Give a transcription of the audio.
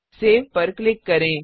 save पर click करें